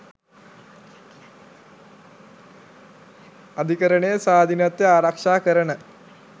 අධිකරණයේ ස්වාධීනත්වය ආරක්ෂා කරන